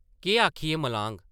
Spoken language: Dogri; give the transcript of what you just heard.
केह् आखियै मलाङ ?